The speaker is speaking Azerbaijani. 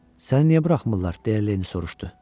Səni niyə buraxmırlar, deyə Leni soruşdu.